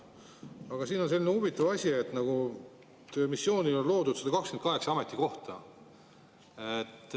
Aga siin on selline huvitav asi, et missioonil on loodud 128 ametikohta.